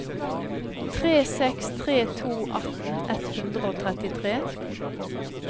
tre seks tre to atten ett hundre og trettitre